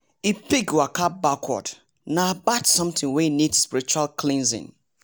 if pig waka backward nah bad something wey need spiritual cleansing